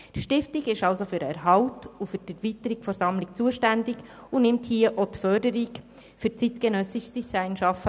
Die Stiftung ist für den Erhalt und die Erweiterung dieser Sammlung zuständig und fördert auch hier das zeitgenössische Design-Schaffen.